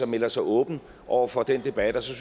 melder sig åben over for den debat og så